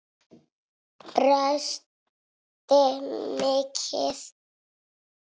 Brosti mikið.